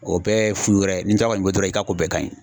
O bɛɛ ye fu wɛrɛ ye n'i ta kɔni be i bolo dɔrɔn i ka ko bɛɛ ka ɲi